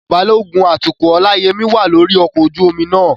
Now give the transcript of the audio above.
Balógun atukọ̀ Olayemi wà lórí ọkọ̀ ojú omi náà.